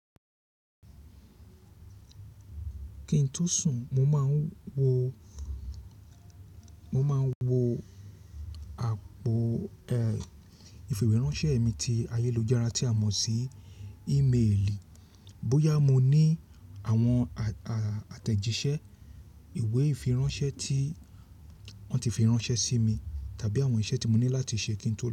Kí n tó sùn mo man wo mo máa ń wo àpò ìfìwéránṣẹ́ mi ti ayélujára tí a mọ̀ sí ímeèlì. Bóyá mo ní àwọn àtẹ̀jíṣẹ́ ìwé ìfiránṣẹ́ tí wọ́n ti fi ránṣẹ́ sí mi tàbí àwọn iṣẹ́ tí mo ní láti ṣe kí n tó lọ.